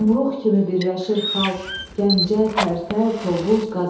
Yumruq kimi birləşir xalq, Gəncə, Tərtər, Tovuz, Qazax.